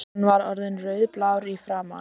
Hann var orðinn rauðblár í framan.